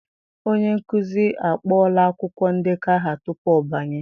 Onye nkuzi akpọọla akwụkwọ ndekọ aha tupu ọ banye